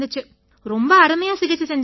ரொம்ப அருமையா சிகிச்சை செஞ்சாங்க